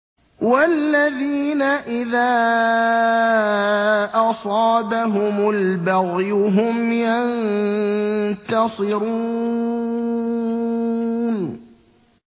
وَالَّذِينَ إِذَا أَصَابَهُمُ الْبَغْيُ هُمْ يَنتَصِرُونَ